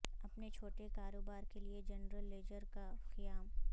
اپنے چھوٹے کاروبار کے لئے جنرل لیجر کا قیام